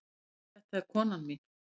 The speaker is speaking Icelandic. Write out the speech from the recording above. Þetta er konan mín.